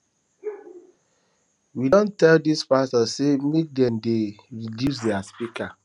we don go tell di pastor sey make dem dey reduce their speaker